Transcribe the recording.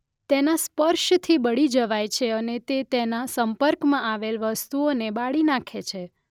તેના સ્પર્શથી બળી જવાય છે અને તે તેના સંપર્કમાં આવેલ વસ્તુઓને બાળી નાખે છે.